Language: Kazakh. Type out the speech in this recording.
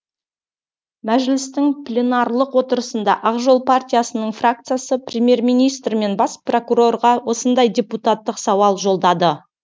мәжілістің пленарлық отырысында ақ жол партиясының фракциясы премьер министр мен бас прокурорға осындай депутаттық сауал жолдады